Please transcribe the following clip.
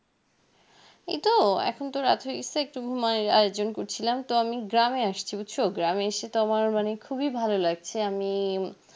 এই তো এখন তো রাত্রি হয়ছে একটু গুমাই এর আয়োজন করছিলাম তো আমি গ্রামে আসছি বুজছো গ্রামে এসে তো আমার মানে খুবই ভালো লাগছে আমি